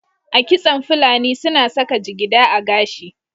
A kitson fulani su na saka jigida a gashi